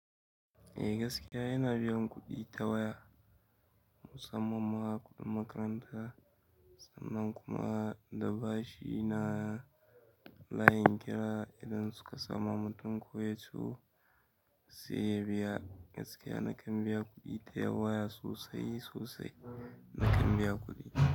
Eh gaskiya yana biyan kuɗi ta waya musamman ma kuɗin makaranta sannan kuma da bashi na layin kira idan suka samu mutum koya turo sai ya biya gaskiya nakan biya kuɗi ta waya sosai sosai nakan biya kuɗi.